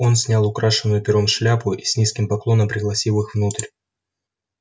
он снял украшенную пером шляпу и с низким поклоном пригласил их внутрь